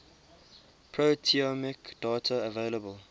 proteomic data available